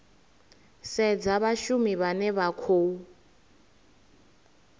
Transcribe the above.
sedzwa vhashumi vhane vha khou